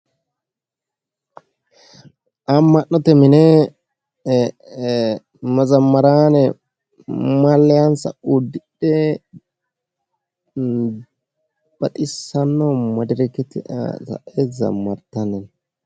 Amma'note mine mazammaraane malliyaansa uddidhe baxissanno madirakete aana sa'e zammartanni no